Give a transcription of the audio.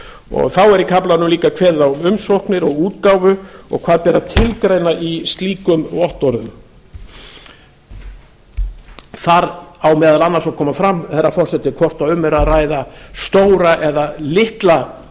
og þá er í kaflanum líka kveðið á um umsóknir og útgáfu og hvað beri að tilgreina í slíkum vottorðum þar á meðal annars að koma fram herra forseti hvort um er að ræða stóra eða litla